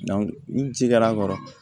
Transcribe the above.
ni cikɛr'a kɔrɔ